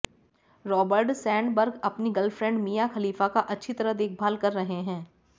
Robert Sandberg अपनी girlfriend Mia Khalifa का अच्छी तरह देखभाल कर रहे हैं